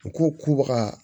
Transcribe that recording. U ko k'u baga